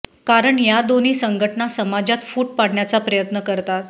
कारण या दोन्ही संघटना समाजात फूट पाडण्याचा प्रयत्न करतात